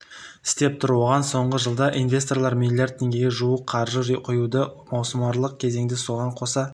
істеп тұр оған соңғы жылда инвесторлар млрд теңгеге жуық қаржы құйды маусымаралық кезеңде оған қоса